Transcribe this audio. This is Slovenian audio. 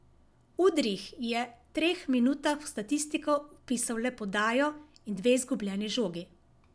Udrih je treh minutah v statistiko vpisal le podajo in dve izgubljeni žogi.